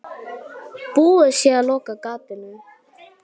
Búið sé að loka gatinu.